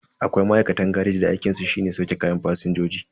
Akwai ma'aikatan gareji da aikinsu shine sauke kayan fasinjoji.